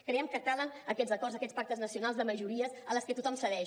creiem que calen aquests acords aquests pactes nacionals de majories en les que tothom cedeix